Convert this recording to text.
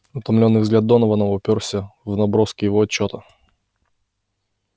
утомлённый взгляд донована упёрся в наброски его отчёта